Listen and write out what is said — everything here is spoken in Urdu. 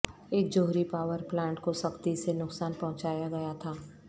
ایک جوہری پاور پلانٹ کو سختی سے نقصان پہنچایا گیا تھا